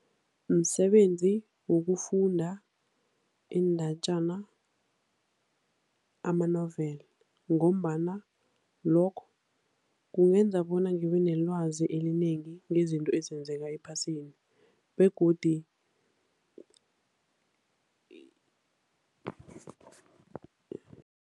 Msebenzi wokufunda iindatjana, ama-novel ngombana lokho kungenza bona ngibenelwazi elinengi ngezinto ezenzeka ephasini begodi